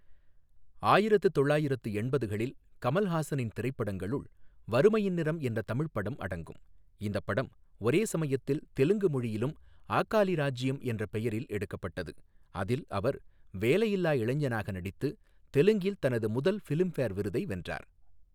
ஆயிரத்து தொள்ளாயிரத்து எண்பதுகளில் கமல்ஹாசனின் திரைப்படங்களுள் வறுமையின் நிறம் என்ற தமிழ் படம் அடங்கும், இந்தப் படம் ஒரே சமயத்தில் தெலுங்கு மொழியிலும் ஆகாலி ராஜ்யம் என்ற பெயரில் எடுக்கப்பட்டது, அதில் அவர் வேலையில்லா இளைஞனாக நடித்து தெலுங்கில் தனது முதல் ஃபிலிம்ஃபேர் விருதை வென்றார்.